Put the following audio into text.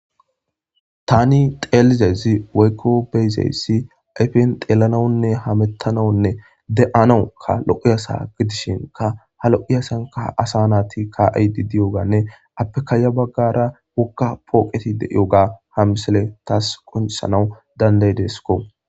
tani xeelizezi waykko beyzeyssi ayfen xeelanawunne hamettanawunne de7anawuka lo7eyasa gidishinka ha lo7iyasanka asa naati ka7iydi diyoganne appekaaya baggara wokka phooqeti de7io ga ha misale taas konsanawu dandaydesko